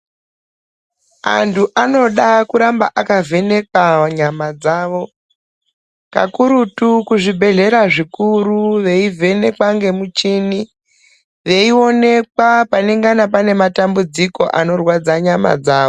Antu anoda kuramba akavhenekwa nyama dzawo kakurutu kuzvibhedhlera veivhenekwa ngemichini veionekwa panengana pane matambudziko anorwadza nyama dzavo.